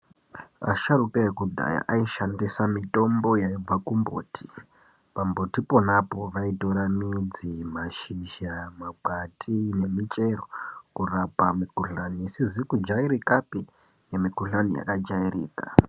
Asharukwa ekudhaya aishandisa mitombo yaibva kumbuti pambutipo pona ipapo vaitora midzi mashizha makwandi nemuchero kurapa mikuhlani isizi kujairikapi Nemukuhlani wakajairika.